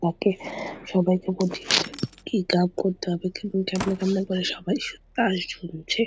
রাতে সবাইকে বলছি কি কাজ করতে হবে সবাই তাই শুনছে।